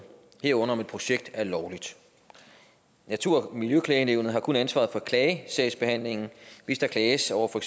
herunder om et projekt er lovligt natur og miljøklagenævnet har kun ansvaret for klagesagsbehandlingen hvis der klages over for